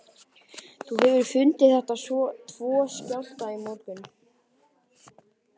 Þú hefur fundið þessa tvo skjálfta í morgun?